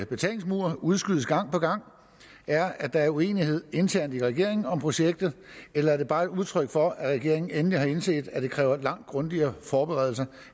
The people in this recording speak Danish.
betalingsmur udskydes gang på gang er at der er uenighed internt i regeringen om projektet eller er det bare et udtryk for at regeringen endelig har indset at det kræver langt grundigere forberedelser